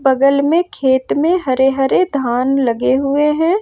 बगल में खेत में हरे हरे धान लगे हुए हैं।